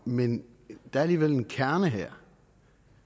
men der er alligevel en kerne her